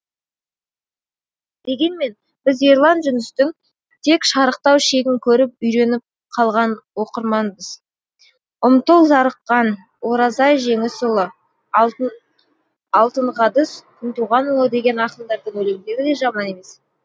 дегенмен біз ерлан жүністің тек шарықтау шегін көріп үйреніп қалған оқырманбыз ұмтыл зарыққан оразай жеңісұлы алтынғадыс күнтуғанұлы деген ақындардың өлеңдері де жаман емес